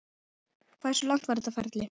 Hversu langt var þetta ferli?